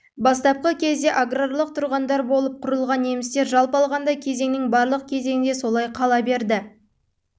бастапқы кезде аграрлық тұрғындар болып құрылған немістер жалпы алғанда кезеңнің барлық кезінде солай қала берді